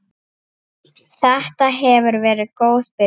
Þetta hefur verið góð byrjun.